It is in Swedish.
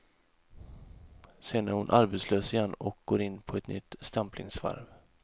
Sen är hon arbetslös igen och går in på ett nytt stämplingsvarv.